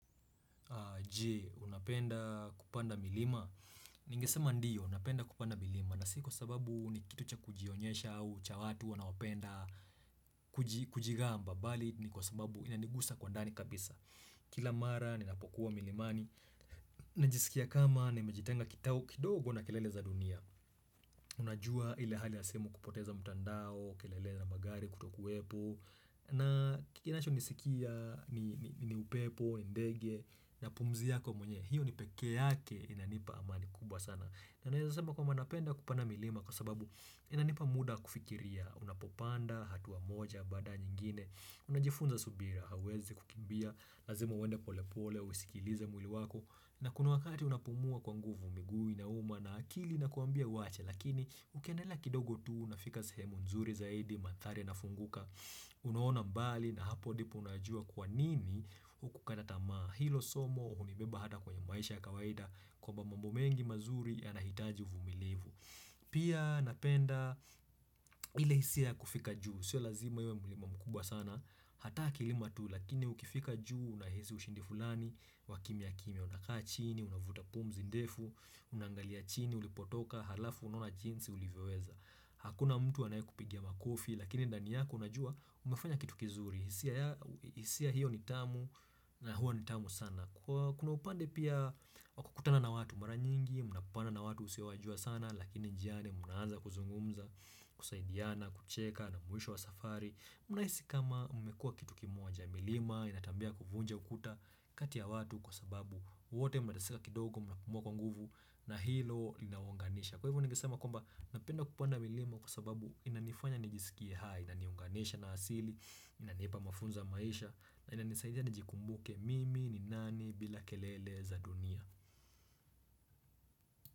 Je, unapenda kupanda milima? Ningesema ndiyo napenda kupanda milima na si kwa sababu ni kitu cha kujionyesha au cha watu wanaopenda kujigamba bali ni kwa sababu inanigusa kwa ndani kabisa Kila mara ninapokuwa milimani Najisikia kama nimejitenga kidogo na kelele za dunia Unajua ile hali ya simu kupoteza mtandao, kelele ya magari kutokuwepo na kinachonisikia ni upepo, ndege na pumzi yako mwenyewe, hiyo ni peke yake inanipa amani kubwa sana, na naweza sema kwamba napenda kupanda milima kwa sababu inanipa muda wa kufikiria unapopanda hatua moja baada ya nyingine unajifunza subira, hauwezi kukimbia lazima uende pole pole, usikilize mwili wako na kuna wakati unapumua kwa nguvu miguu inauma na akili inakuambia uwache lakini ukiendelea kidogo tu unafika sehemu nzuri zaidi mandhari inafunguka unaona mbali na hapo ndipo unajua kwa nini hukukata tamaa. Hilo somo hunibeba hata kwenye maisha ya kawaida kwamba mambo mengi mazuri yanahitaji uvumilivu pia napenda ile hisia ya kufika juu, sio lazima iwe mlima mkubwa sana, hata kilima tu lakini ukifika juu unahisi ushindi fulani wakimimya kimya. Unakaa chini unavuta pumzi ndefu Unaangalia chini ulipotoka halafu unaona jinsi ulivyoweza. Hakuna mtu anayekupigia makofi lakini ndani yako unajua umefanya kitu kizuri hisia yako hisia hiyo ni tamu, na huwa ni tamu sana Kuna upande pia wa kukutana na watu mara nyingi mna kupana na watu usio wajua sana lakini njiani mnaanza kuzungumza kusaidiana, kucheka na mwisho wa safari mnahisi ni kama mmekua kitu kimoja milima ina tabia ya kuvunja ukuta kati ya watu kwa sababu wote mnateseka kidogo mnnapumua kwa nguvu na hilo linawaunganisha. Kwa hivyo ningesama kwamba napenda kupanda milima kwa sababu inanifanya nijisikie hai Inaniunganisha na asili inanipa mafunzo ya maisha na inanisaidia nijikumbuke mimi ni nani bila kelele za dunia.